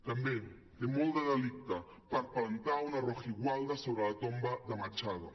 també té molt de delicte palplantar una rojigualda sobre la tomba de machado